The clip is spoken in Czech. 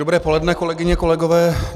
Dobré poledne, kolegyně, kolegové.